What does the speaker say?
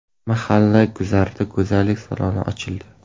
Mahalla guzarida go‘zallik saloni ochildi.